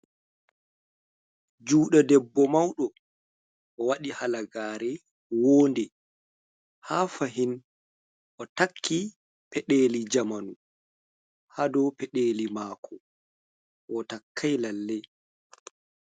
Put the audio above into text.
Juɗe debbo mauɗo. Owaɗi halagare won'de, haa fahin otakki peɗeli jamanu ha dou peɗeli mako. Otakkai lalle.